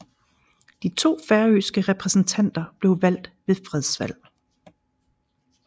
De to færøske repræsentanter blev valgt ved fredsvalg